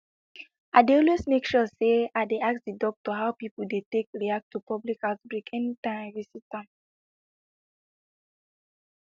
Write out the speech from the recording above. i dey always make sure say i ask the doctor how people dey take react to public outbreak anytime i visit am